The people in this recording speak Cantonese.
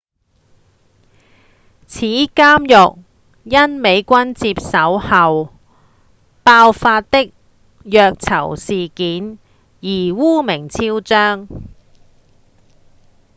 此監獄因美軍接手後爆發的虐囚事件而惡名昭彰